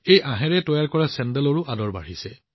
এই আঁহেৰে তৈয়াৰ কৰা চেন্দেলবোৰো আজি জনপ্ৰিয় হৈছে